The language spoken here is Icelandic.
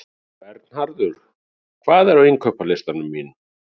Vernharður, hvað er á innkaupalistanum mínum?